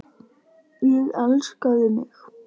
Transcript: Og elskaði mig.